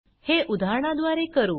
हे उदाहरनाद्वारे करू